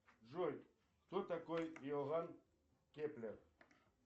джой кто такой иоганн кеплер